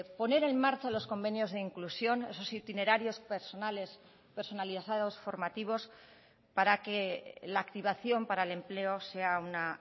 poner en marcha los convenios de inclusión esos itinerarios personales personalizados formativos para que la activación para el empleo sea una